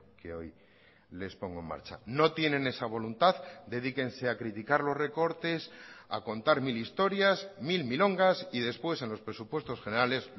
que hoy les pongo en marcha no tienen esa voluntad dedíquense a criticar los recortes a contar mil historias mil milongas y después en los presupuestos generales